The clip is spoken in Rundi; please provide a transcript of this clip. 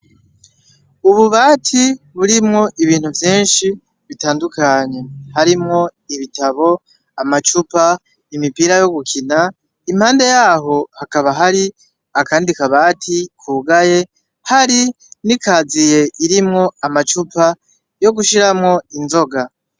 Ububati burimwo ibintu vyinshi bitandukanye harimwo ibitabu amacupa, imipira yo gukina impande yaho akandi kabati kugaye hari n'ikaziye irimwo amacupa yogushiramwo inzoga.